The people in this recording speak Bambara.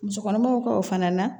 Musokɔnɔmaw ka o fana na